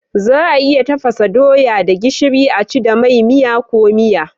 Za a iya tafasa doya da gishiri a ci da mai, miya ko miya.